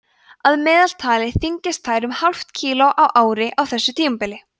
að meðaltali þyngjast þær um hálft kíló á ári á þessu tímabili